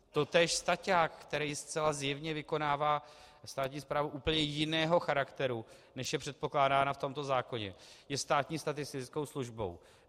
Totéž staťák, který zcela zjevně vykonává státní správu úplně jiného charakteru, než je předpokládána v tomto zákoně, je státní statistickou službou.